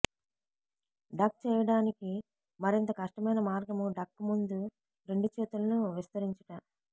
duck చేయటానికి మరింత కష్టమైన మార్గం డక్ ముందు రెండు చేతులను విస్తరించుట